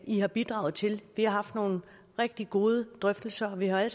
i har bidraget til vi har haft nogle rigtig gode drøftelser og vi har alle